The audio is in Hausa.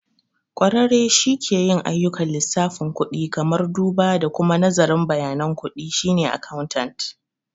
Ƙwararre shi ke yin ayyukan lissafin kudi, kamar duba da kuma nazarin bayanan kuɗi, shine accountant.